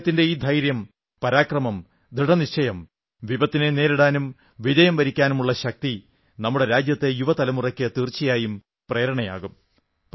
അദ്ദേഹത്തിന്റെ ഈ ധൈര്യം പരാക്രമം ദൃഢനിശ്ചയം വിപത്തിനെ നേരിടാനും വിജയം വരിക്കാനുമുള്ള ശക്തി നമ്മുടെ രാജ്യത്തെ യുവതലമുറയ്ക്ക് തീർച്ചയായും പ്രേരണയാകും